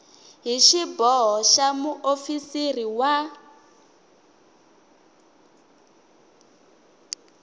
hi xiboho xa muofisiri wa